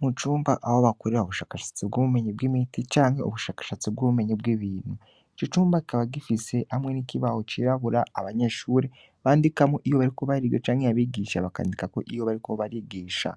Mu cumba abo bakorera ubushakashatsi bw'ubumenyi bw'imiti canke ubushakashatsi bw'ubumenyi bw'ibintu ico cumba kaba gifise hamwe n'ikibaho cirabura abanyeshure bandikamwo iyo bariko barige canke yabigisha bakandika ko iyo bariko barigisha